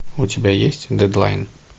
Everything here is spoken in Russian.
у тебя есть дедлайн